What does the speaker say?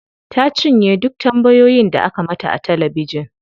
Ta cinye duk tambayoyin da aka mata a talabijin.